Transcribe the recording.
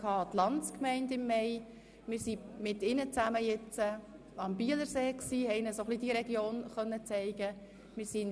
Wir waren ja im Mai von Ihnen an die Landsgemeinde eingeladen worden.